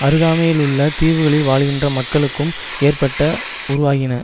அருகாமையிலுள்ள தீவுகளில் வாழ்கின்ற மக்களுக்கும் ஏற்பட்ட உருவாகின